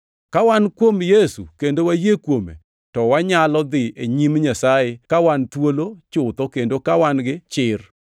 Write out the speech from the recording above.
Ka wan kuom Yesu kendo wayie kuome to wanyalo dhi e nyim Nyasaye ka wan thuolo chutho kendo ka wan gi chir.